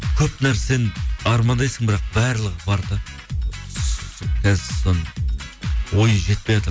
көп нәрсені армандайсың бірақ барлығы бар да қазір соны ой жетпейатыр